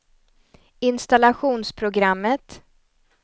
installationsprogrammet